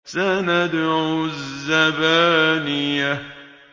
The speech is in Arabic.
سَنَدْعُ الزَّبَانِيَةَ